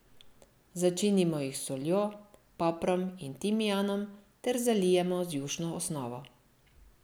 Začinimo jih s soljo, poprom in timijanom ter zalijemo z jušno osnovo.